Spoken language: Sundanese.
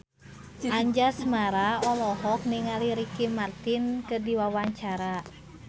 Anjasmara olohok ningali Ricky Martin keur diwawancara